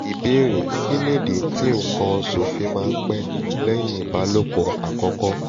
ìbéèrè: kí nìdí tí nkan osu fi máa ń pẹ́ lẹ́yìn ìbálòpọ̀ àkọ́kọ́?